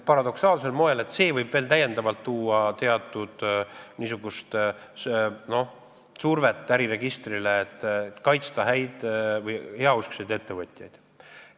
Paradoksaalsel moel võib see kaasa tuua veel täiendava surve äriregistrile, selleks et kaitsta heauskseid ettevõtjaid.